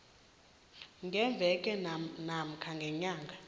ngeveke namkha ngenyanga